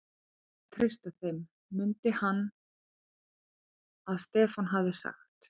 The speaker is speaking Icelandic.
Það er hægt að treysta þeim, mundi hann að Stefán hafði sagt.